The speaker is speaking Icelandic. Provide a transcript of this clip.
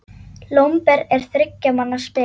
Lomber er þriggja manna spil.